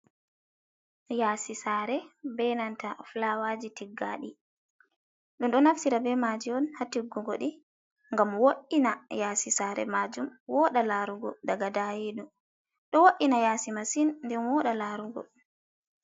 Yasi saare ɓe nanta fulawaji tiggadi, ɗum ɗo naftira be maji on hatiggugo di ngam wo’ina yasi saare majum, wooɗa larugo daga daayidum. Ɗo wo’ina yasi saare masin nden woɗa larugo.